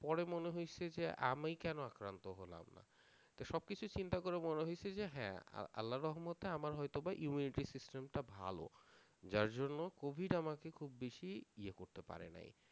পরে মনে হয়েছে যে আমিই কেন আক্রান্ত হলামনা তা সবকিছু চিন্তা করে মনে হয়েছে, যে হ্যাঁ আর আল্লাহর রহমতে আমার হয়তো বা immunity system টা ভালো যার জন্য covid আমাকে খুব বেশি ইয়ে করতে পারেনাই,